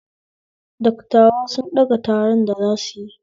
Dattawa sun fɗaga taron da zasuyi